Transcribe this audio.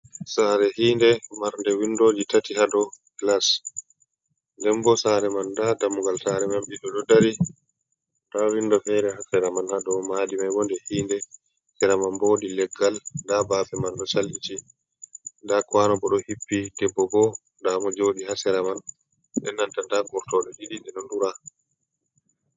Sare hi inɗe, marde windoji tati ha dou gilas, ndembo sare man nɗa dammugal sare man ɓiɗɗ ɗo dari, nɗa windo fere ha sera man, ha dou madi mai ma nɗe hiinde, sera man bo wodi leggal, nɗa bafe man bo. ɗo sarɓiti, nɗa kwano bo ɗo hippi, debbo bo nɗamo joɗi ha sera man, nɗen nɗa gurtoɗe ɗiɗi ɗe ɗo dura.